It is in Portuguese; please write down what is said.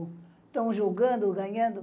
Estão jogando, ganhando.